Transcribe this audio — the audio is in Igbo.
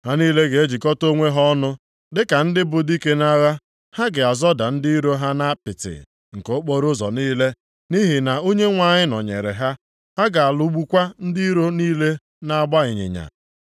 Ha niile ga-ejikọta onwe ha ọnụ, dịka ndị bụ dike nʼagha, ha ga-azọda ndị iro ha nʼapịtị nke okporoụzọ niile. Nʼihi na Onyenwe anyị nọnyeere ha, ha ga-alụgbukwa ndị iro niile na-agba ịnyịnya.